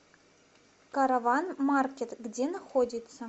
караван маркет где находится